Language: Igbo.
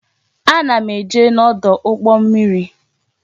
A na m eje n'ọdụ ụgbọ mmiri